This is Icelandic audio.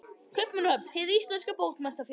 Kaupmannahöfn: Hið íslenska bókmenntafélag.